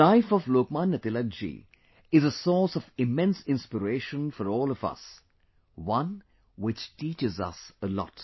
The life of Lokmanya Tilak ji is a source of immense inspiration for all of us; one which teaches us a lot